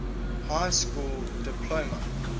high school diploma